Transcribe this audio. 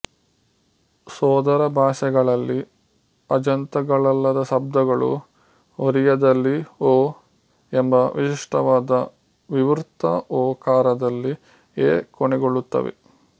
ಸೋದರಭಾಷೆಗಳಲ್ಲಿ ಅಜಂತಗಳಲ್ಲದ ಶಬ್ದಗಳು ಒರಿಯದಲ್ಲಿ ಓ ಎಂಬ ವಿಶಿಷ್ಟವಾದ ವಿವೃತ ಒ ಕಾರದಲ್ಲಿ ಎ ಕೊನೆಗೊಳ್ಳುತ್ತವೆ